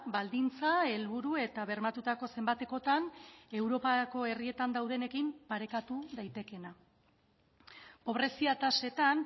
baldintza helburu eta bermatutako zenbatekotan europako herrietan daudenekin parekatu daitekeena pobrezia tasetan